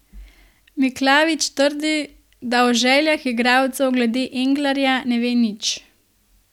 Miklavič trdi, da o željah igralcev glede Englara ne ve nič.